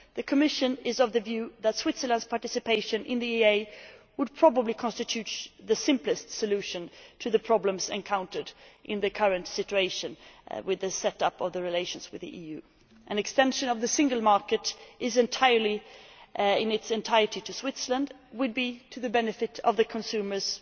The Commission is of the view that Switzerland's participation in the EEA would probably constitute the simplest solution to the problems encountered in the current situation with the setup of relations with the EU. An extension of the single market in its entirety to Switzerland would be to the benefit of consumers